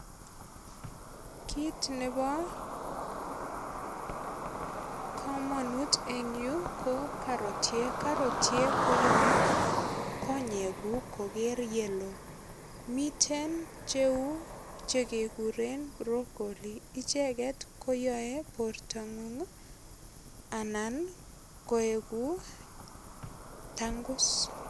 Kit nebo kamanut eng yu ko karotiek. Karotiek koyoe konyeguk koger yeloo. Miten cheu chekekuren brocolli. Icheget koyoe bortangung anan keugu tangus